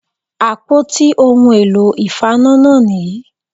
Àpótí ohun èlò ìfaná náà nì yí